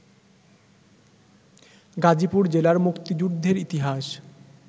গাজীপুর জেলার মুক্তিযুদ্ধের ইতিহাস